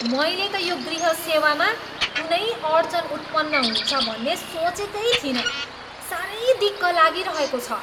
मैले त यो गृह सेवामा कुनै अड्चन उत्पन्न हुन्छ भन्ने सोचेकै थिइनँ। साह्रै दिक्क लागिरहेको छ।